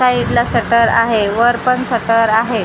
साईडला शटर आहे वर पण शटर आहे.